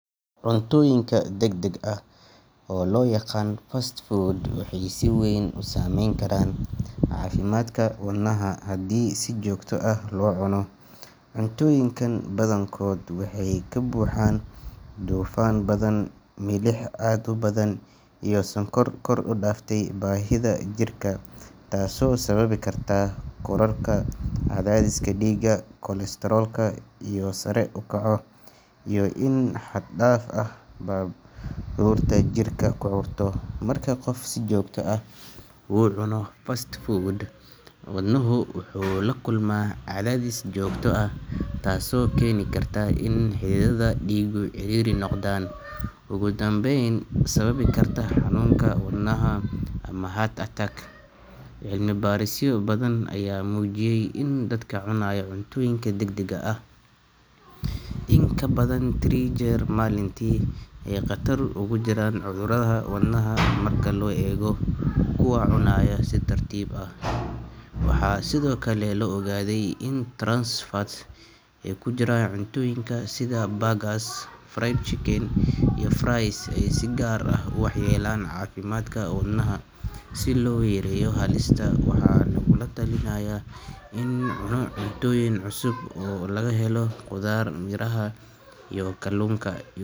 Cuntooyinka degdega ah, oo loo yaqaan fast food, waxay si weyn u saameyn karaan caafimaadka wadnaha haddii si joogto ah loo cuno. Cuntooyinkan badankood waxay ka buuxaan dufan badan, milix aad u badan, iyo sonkor kor u dhaaftay baahida jirka, taasoo sababi karta kororka cadaadiska dhiigga, kolestaroolka oo sare u kaco, iyo in xad-dhaaf ah baruurta jirka ku ururto. Marka qofku si joogto ah u cuno fast food, wadnuhu wuxuu la kulmaa cadaadis joogto ah, taasoo keeni karta in xididdada dhiiggu ciriiri noqdaan, ugu dambeyna sababi karta xanuunka wadnaha ama heart attack. Cilmi baarisyo badan ayaa muujiyay in dadka cunaya cuntooyinka degdega ah in ka badan three jeer usbuucii ay khatar ugu jiraan cudurrada wadnaha marka loo eego kuwa cunaya si tartiib ah. Waxaa sidoo kale la ogaaday in trans fats ee ku jira cuntooyinka sida burgers, fried chicken, iyo fries ay si gaar ah u waxyeeleeyaan caafimaadka wadnaha. Si loo yareeyo halistaas, waxaa lagula talinayaa in la cuno cuntooyin cusub oo laga helo khudaar, miraha, iyo kalluunka.